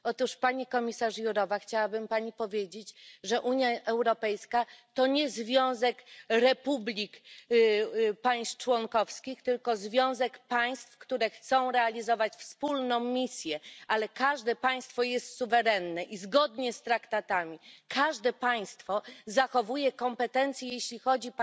Otóż pani komisarz Jourová, chciałabym Pani powiedzieć, że Unia Europejska to nie związek republik państw członkowskich, tylko związek państw, które chcą realizować wspólną misję, ale każde państwo jest suwerenne i zgodnie z traktatami każde państwo zachowuje kompetencje, jeśli chodzi